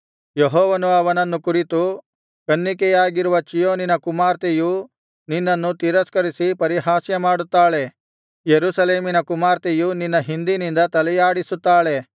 ಯೆಹೋವನು ಅವನನ್ನು ಕುರಿತು ಕನ್ನಿಕೆಯಾಗಿರುವ ಚೀಯೋನಿನ ಕುಮಾರ್ತೆಯು ನಿನ್ನನ್ನು ತಿರಸ್ಕರಿಸಿ ಪರಿಹಾಸ್ಯಮಾಡುತ್ತಾಳೆ ಯೆರೂಸಲೇಮಿನ ಕುಮಾರ್ತೆಯು ನಿನ್ನ ಹಿಂದಿನಿಂದ ತಲೆಯಾಡಿಸುತ್ತಾಳೆ